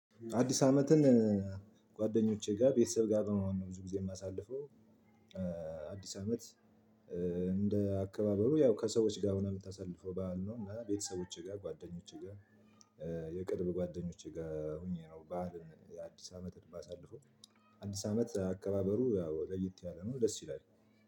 አዲስ አመትን ጓደኞቼ ጋር ቤተሰብ ጋር ነው ብዙ ጊዜ የማሳልፈው አዲስ አመት እንደ አከባበሩ ያው ከሰዎች ጋር ሆነህ የምታሳልፈው በዓል ነው። ቤተሰቦቼ ጋር፣ ጓደኞቼ ጋር፣ የቅርብ ጓደኞች ጋር ሆኜ ነው ባዓልን የአዲስ አመት የማሳልፈው። አዲስ አመት አከባበሩ ያው ለየት ያለ ነው፤ ደስ ይላል።